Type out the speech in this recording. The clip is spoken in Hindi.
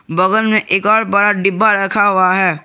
बगल में एक और बड़ा डिब्बा रखा हुआ है।